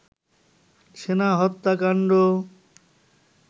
সেনা হত্যাকাণ্ড